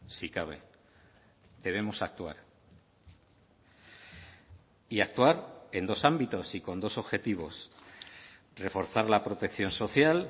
si cabe debemos actuar y actuar en dos ámbitos y con dos objetivos reforzar la protección social